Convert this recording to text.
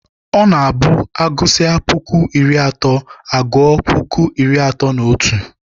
Ọ na-abụ agụsịa puku iri atọ agua puku iri atọ na otu.